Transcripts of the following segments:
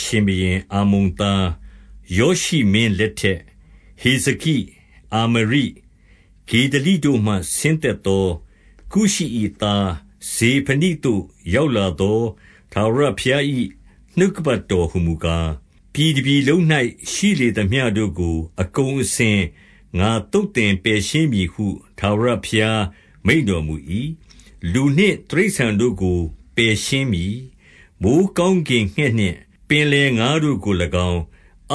ရှင်ဘုရင်အာမုန်သား ယောရှိမင်းလက် ထက်၊ ဟိဇကိ၊ အာမရိ၊ ဂေဒလိတို့မှ ဆင်းသက်သော ကုရှိ၏သား ဇေဖနိသို့ ရောက်လာသော ထာဝရဘုရား၏ နှုတ်ကပတ်တော်ဟူမူကား၊ 2 ပြည်တပြည်လုံး၌ ရှိလေသမျှတို့ကို အကုန် အစင် ငါသုတ်သင်ပယ်ရှင်းမည်ဟု ထာဝရဘုရားမိန့် တော်မူ၏။ 3 လူနှင့်တိရစ္ဆာန်တို့ကို ပယ်ရှင်းမည်။ မိုဃ်း ကောင်းကင်ငှက်နှင့် ပင်လယ်ငါးတို့ကို၎င်း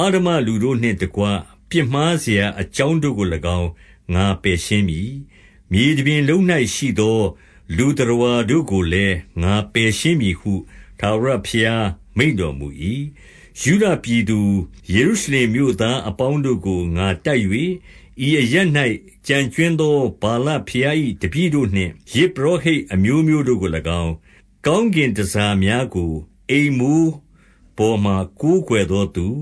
၊ အဓမ္မလူတို့ နှင့်တကွ ပြစ်မှားစရာအကြောင်းတို့ကို၎င်း ငါပယ်ရှင်း မည်။ မြေတပြင်လုံး၌ရှိသော လူသတ္တဝါတို့ကိုလည်း ငါ ပယ်ရှင်းမည်ဟု ထာဝရဘုရားမိန့်တော်မူ၏။ 4 ယုဒပြည်သူ၊ ယေရုရှလင်မြို့သားအပေါင်းတို့ကို ငါတိုက်၍၊ ဤအရပ်၌ ကျန်ကြွင်းသော ဗာလဘုရား၏ တပည့်တို့နှင့် ယဇ်ပုရောဟိတ်အမျိုးမျိုးတို့ကို၎င်း၊ 5 ကောင်းကင်တန်ဆာများကို အိမ်မိုးပေါ်မှာ ကိုးကွယ်သောသူ၊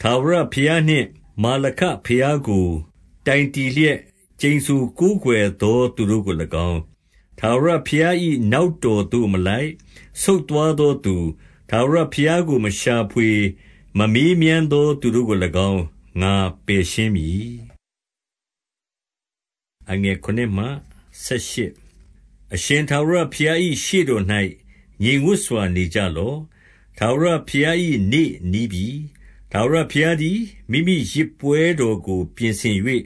ထာဝရဘုရားနှင့် မာလခံဘုရားကို တိုင်တည်လျက် ကျိန်ဆိုကိုးကွယ်သော သူတို့ကို၎င်း၊ 6 ထာဝရဘုရား၏နောက်တော်သို့မလိုက်၊ ဆုတ် သွားသောသူ၊ ထာဝရဘုရားကို မရှာဖွေ၊ မမေးမြန်းသော သူတို့ကို၎င်း ငါပယ်ရှင်းမည်။ 7 အရှင်ထာဝရဘုရား၏ရှေ့တော်၌ ငြိမ်သက်စွာ နေကြလော့။ ထာဝရဘုရား၏နေ့နီးပြီ။ ထာဝရဘုရား သည် မိမိယဇ်ပွဲတော်ကို ပြင်ဆင်၍၊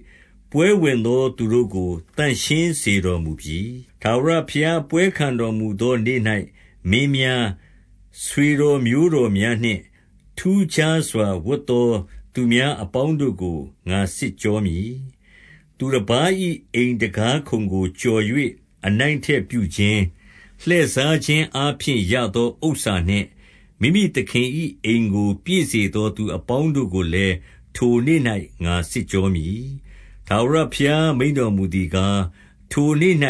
ပွဲဝင်သော သူတို့ကို သန့်ရှင်းစေတော်မူပြီ။ 8 ထာဝရဘုရားပွဲခံတော်မူသော နေ့၌ မင်းများ၊ ဆွေတော်မျိုးတော်များနှင့် ထူးခြားစွာ ဝတ်သောသူများ အပေါင်းတို့ကို ငါစစ်ကြောမည်။ 9 သူတပါး၏အိမ်တံခါးခုံကို ကျော်၍ အနိုင် အထက်ပြုခြင်း၊ လှည့်စားခြင်းအားဖြင့်ရသော ဥစ္စာနှင့် မိမိသခင်၏ အိမ်ကို ပြည့်စေသောသူအပေါင်းတို့ကိုလည်း ထိုနေ့၌ ငါစစ်ကြောမည်။ 10 ထာဝရဘုရားမိန့်တော်မူသည်ကား၊ ထိုနေ့၌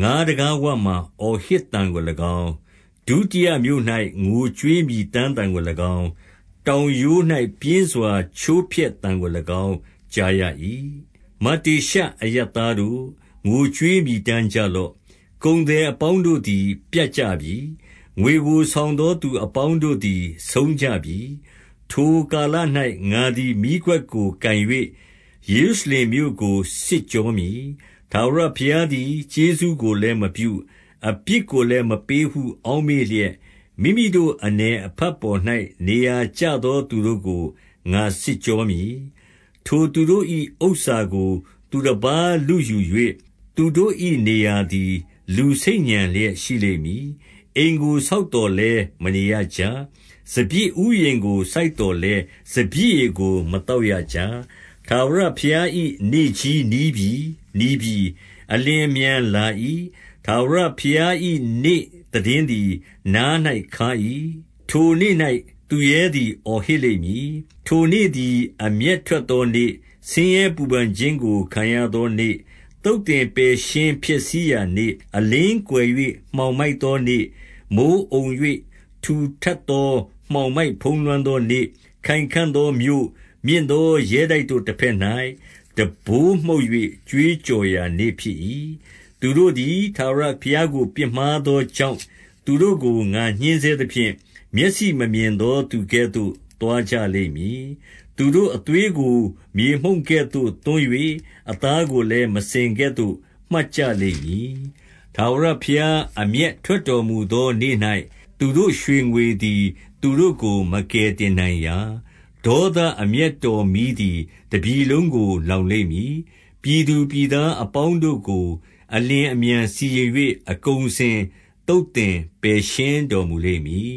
ငါးတံခါးဝမှာ အော်ဟစ်သံကို၎င်း၊ ဒုတိယမြို့၌ ငိုကြွေး မြည်တမ်းသံကိုင်း၊ တောင်ရိုး၌ ပြင်းစွာချိုးဖျက်သံကို၎င်း ကြားရ၏။ 11 မတ္တေရှအရပ်သားတို့၊ ငိုကြွေးမြည်တမ်းကြ လော့။ ကုန်သည်အပေါင်းတို့သည် ပြတ်ကြပြီ။ ငွေကို ဆောင်သောသူအပေါင်းတို့သည် ဆုံးကြပြီ။ 12 ထိုကာလ၌ ငါသည် မီးခွက်ကို ကိုင်၍ ယေရုရှ လင်မြို့ကို စစ်ကြောမည်။ ထာဝရဘုရားသည် ကျေးဇူးကို လည်းမပြု၊ အပြစ်ကိုလည်း မပေးဟု အောက်မေ့လျက်၊ မိမိတို့အနည်အဖတ်ပေါ်၌ နေရာကျသော သူတို့ကို ငါစစ်ကြောမည်။ 13 ထိုသူတို့၏ဥစ္စာကို သူတပါးလုယူ၍၊ သူတို့၏ နေရာသည် လူဆိတ်ညံလျက် ရှိလိမ့်မည်။ အိမ်ကို ဆောက်သောလည်း မနေရကြ။ စပျစ်ဥယျာဉ်ကို စိုက် သော်လည်း စပျစ်ရည်ကို မသောက်ရကြ။ 14 ထာဝရဘုရား၏နေ့ကြီးနီးပြီ။ နီးပြီ။ အလျင် အမြန်လာ၏။ ထာဝရဘုရား၏ နေ့သိတင်းသည် နား၌ ခါး၏။ ထိုနေ့၌ သူရဲသည် အော်ဟစ်လိမ့်မည်။ 15 ထိုနေ့သည် အမျက်ထွက်သောနေ့၊ ဆင်းရဲပူပန် ခြင်းကို ခံရသောနေ့၊ သုတ်သင်ပယ်ရှင်းဖျက်ဆီးရာနေ့၊ အလင်းကွယ်၍ မှောင်မိုက်သောနေ့၊ မိုဃ်းအုံ၍ ထူထပ် သောမှောင်မိုက်ဖုံးလွှမ်းသောနေ့၊ 16 ခိုင်ခံ့သောမြို့၊ မြင့်သောရဲတိုက်တို့တဘက်၌ တံပိုးမှုတ်၍ ကြွေးကြော်ရာနေ့ဖြစ်၏။ 17 သူတို့သည် ထာဝရဘုရားကို ပြစ်မှားသော ကြောင့်၊ သူတို့ကို ငါညှဉ်းဆဲသဖြင့် မျက်စိမမြင်သော သူကဲ့သို့သွားကြလိမ့်မည်။ သူတို့အသွေးကို မြေမှုန့်ကဲ့သို့ သွန်း၍ အသားကိုလည်း မစင်ကဲ့သို့ မှတ်ကြလိမ့်မည်။ 18 ထာဝရဘုရား အမျက်ထွက်တော်မူသော နေ့၌ သူတို့ရွှေငွေသည် သူတို့ကို မကယ်တင်နိုင်ရာ။ ဒေါသ အမျက်တော်မီးသည် တပြည်လုံးကို လောင်လိမ့်မည်။ ပြည်သူပြည်သားအပေါင်းတို့ကို အလျင်အမြန် စီရင်၍ အကုန်အစင် သုတ်သင်ပယ်ရှင်းတော်မူလိမ့်မည်